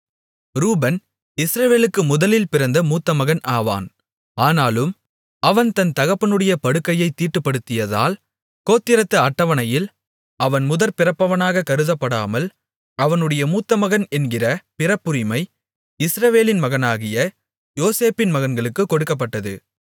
ரூபன் இஸ்ரவேலுக்கு முதலில் பிறந்த மூத்தமகன் ஆவான் ஆனாலும் அவன் தன் தகப்பனுடைய படுக்கையைத் தீட்டுப்படுத்தியதால் கோத்திரத்து அட்டவணையில் அவன் முதற்பிறப்பவனாக கருதப்படாமல் அவனுடைய மூத்த மகன் என்கிற பிறப்புரிமை இஸ்ரவேலின் மகனாகிய யோசேப்பின் மகன்களுக்குக் கொடுக்கப்பட்டது